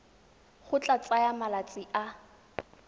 go tla tsaya malatsi a